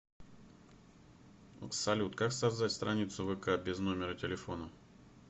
салют как создать страницу в вк без номера телефона